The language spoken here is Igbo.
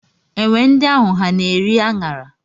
Enwe ndị ahụ ha na-eri a ṅara?